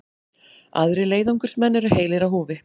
Aðrir leiðangursmenn eru heilir á húfi